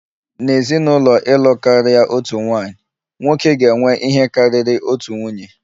N'ezinụlọ ịlụ karịa otu nwaanyị, nwoke ga-enwe ihe karịrị otu nwunye